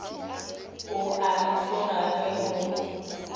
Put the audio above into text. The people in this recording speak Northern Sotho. o a nthoga ge o